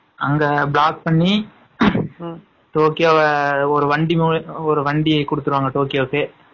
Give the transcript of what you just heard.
அங்க block பண்ணி டோக்கியோக்கு ஒரு வண்டி குடுத்துருவாங்க டோக்கியோக்கு